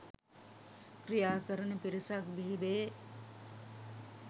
ක්‍රියාකරන පිරිසක් බිහිවේ.